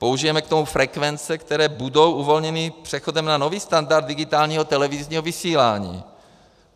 Použijeme k tomu frekvence, které budou uvolněny přechodem na nový standard digitálního televizního vysílání.